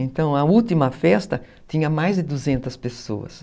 Então a última festa tinha mais de duzentas pessoas.